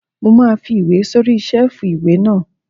Mo máa fi ìwé sórí sẹ́ẹ̀fù ìwé náà